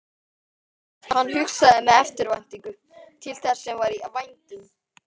Hann hugsaði með eftirvæntingu til þess sem var í vændum.